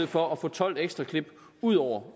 for at få tolv ekstra klip ud over